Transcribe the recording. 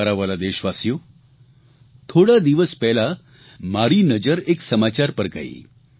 મારા વ્હાલા દેશવાસીઓ થોડા દિવસ પહેલા મારી નજર એક સમાચાર પર ગઇ